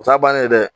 O t'a bannen ye dɛ